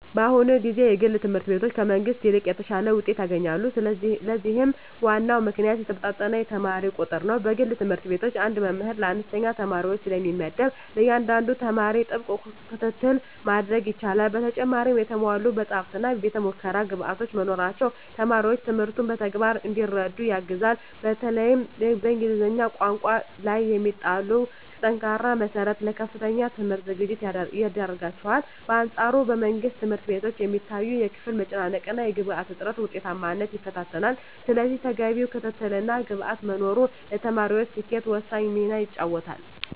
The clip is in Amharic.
በአሁኑ ጊዜ የግል ትምህርት ቤቶች ከመንግሥት ይልቅ የተሻለ ውጤት ያስገኛሉ። ለዚህም ዋናው ምክንያት የተመጣጠነ የተማሪ ቁጥር ነው። በግል ትምህርት ቤቶች አንድ መምህር ለአነስተኛ ተማሪዎች ስለሚመደብ፣ ለእያንዳንዱ ተማሪ ጥብቅ ክትትል ማድረግ ይቻላል። በተጨማሪም የተሟሉ መጻሕፍትና የቤተ-ሙከራ ግብዓቶች መኖራቸው ተማሪዎች ትምህርቱን በተግባር እንዲረዱ ያግዛል። በተለይም በእንግሊዝኛ ቋንቋ ላይ የሚጣለው ጠንካራ መሠረት ለከፍተኛ ትምህርት ዝግጁ ያደርጋቸዋል። በአንፃሩ በመንግሥት ትምህርት ቤቶች የሚታየው የክፍል መጨናነቅና የግብዓት እጥረት ውጤታማነትን ይፈታተናል። ስለዚህ ተገቢው ክትትልና ግብዓት መኖሩ ለተማሪዎች ስኬት ወሳኝ ሚና ይጫወታል።